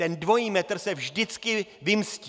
Ten dvojí metr se vždycky vymstí.